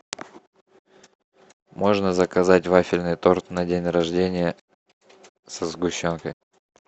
можно заказать вафельный торт на день рождения со сгущенкой